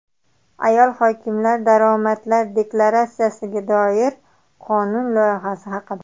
Ayol hokimlar daromadlar deklaratsiyasiga doir qonun loyihasi haqida.